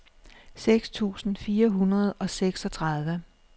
seks tusind fire hundrede og seksogtredive